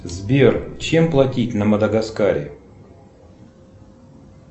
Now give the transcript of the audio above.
сбер чем платить на мадагаскаре